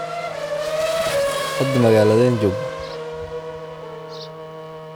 Hada magalade joogna.